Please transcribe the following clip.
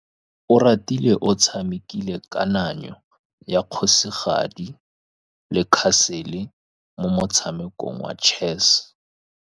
Oratile o tshamekile kananyô ya kgosigadi le khasêlê mo motshamekong wa chess.